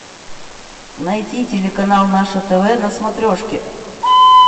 найти телеканал наше тв на смотрешке